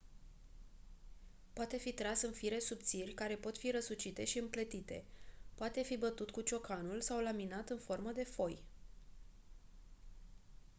poate fi tras în fire subțiri care pot fi răsucite și împletite poate fi bătut cu ciocanul sau laminat în formă de foi